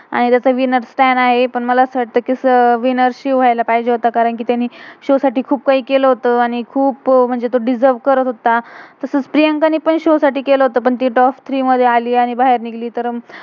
आणि त्याचं winners winners काय नाही पण, मला असं वाटतं कि विनर winner शिव shiv व्ह्याला पाहिजे होता. कारण कि त्यांन शो show साठी खुप कही केलं होता. आणि खुप दिसर्व deserve करत होता. तसच प्रियंका ने पण शो show साठी केलं होतं. पण ती टॉप top थ्री three मधे अली आणि बाहेर निघली.